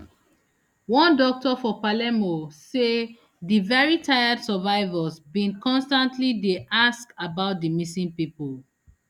one doctor for palermo say di very tired survivors bin constantly dey ask about di missing pipo